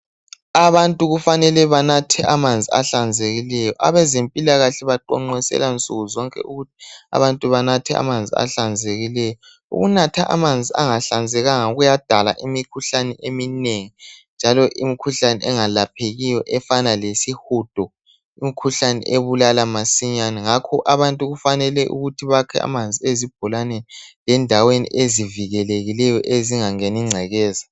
Abantu kumele banathe amanzi ahlanzekileyo. Abezempilakahle baqonqosela nsukuzonke ukuthi abantu banathe amanzi ahlanzekileyo. Ukunatha amanzi angahlanzekanga kuyadala imikhuhlane eminengi njalo imikhuhlane engelaphekiyo efana lesihudo imikhuhlane ebulala masinyane ngakho abantu kufanele bakhe amanzi ezibholaneni lendaweni ezivikelekileyo ezingangeni ingcekeza.